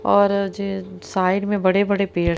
और जे साइड में बड़े-बड़े पेड़--